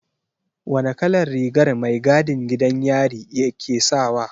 Wane kalar rigar mai gadin gidan yari ke sawa?